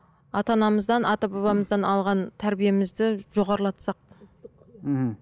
ата анамыздан ата бабамыздан алған тәрбиемізді жоғарлатсақ мхм